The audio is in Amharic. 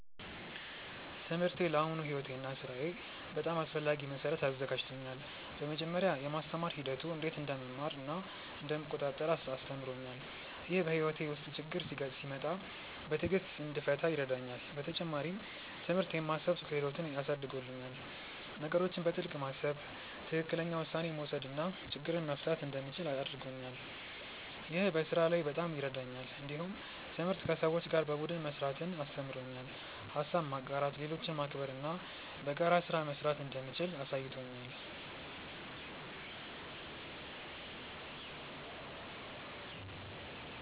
ትምህርቴ ለአሁኑ ሕይወቴ እና ሥራዬ በጣም አስፈላጊ መሠረት አዘጋጅቶኛል። በመጀመሪያ፣ የማስተማር ሂደቱ እንዴት እንደምማር እና እንደምቆጣጠር አስተምሮኛል። ይህ በሕይወቴ ውስጥ ችግኝ ሲመጣ በትዕግሥት እንድፈታ ይረዳኛል። በተጨማሪም፣ ትምህርት የማሰብ ክህሎትን አሳድጎልኛል። ነገሮችን በጥልቅ ማሰብ፣ ትክክለኛ ውሳኔ መውሰድ እና ችግኝ መፍታት እንደምችል አድርጎኛል። ይህ በስራ ላይ በጣም ይረዳኛል። እንዲሁም ትምህርት ከሰዎች ጋር በቡድን መስራትን አስተምሮኛል። ሀሳብ ማጋራት፣ ሌሎችን ማክበር እና በጋራ ስራ መስራት እንደምችል አሳይቶኛል።